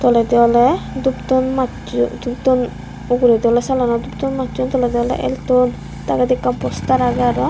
toledi awle dup ton masson dup ton uguredi awle salanot dup ton masson toledi awle el ton toledi ekkan postar agey araw.